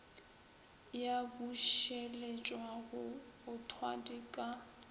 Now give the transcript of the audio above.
ya bušeletšwa go mothwadi ke